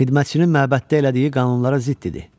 Xidmətçinin məbəddə elədiyi qanunlara zidd idi.